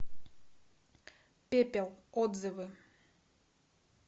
пепел отзывы